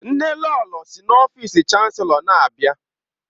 Nnelolo si n'ọfịs Chanselọ na-abịa.